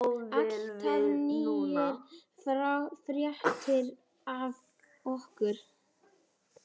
Alltaf nýjar fréttir af okkur.